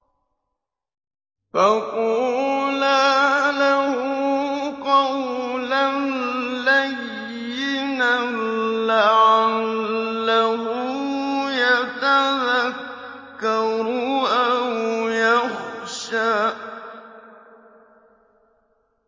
فَقُولَا لَهُ قَوْلًا لَّيِّنًا لَّعَلَّهُ يَتَذَكَّرُ أَوْ يَخْشَىٰ